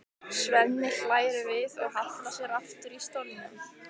Svenni hlær við og hallar sér aftur í stólnum.